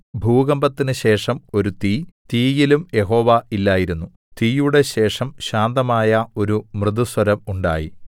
ഭൂകമ്പത്തിനു ശേഷം ഒരു തീ തീയിലും യഹോവ ഇല്ലായിരുന്നു തീയുടെ ശേഷം ശാന്തമായ ഒരു മൃദുസ്വരം ഉണ്ടായി